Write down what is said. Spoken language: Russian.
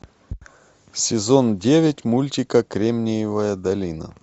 сезон девять мультика кремниевая долина